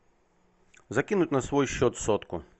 закинуть на свой счет сотку